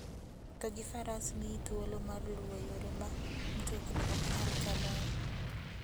Wuotho gi faras miyi thuolo mar luwo yore ma mtokni ok nyal kaloe.